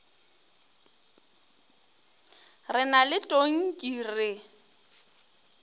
re na le tonki re